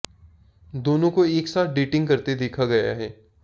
दोनों को एक साथ डेटिंग करते देखा गया है